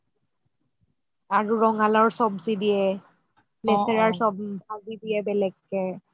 আৰু ৰঙা লাওৰ চব্জি নেচেৰাৰ চব্জি দিয়ে বেলেগকে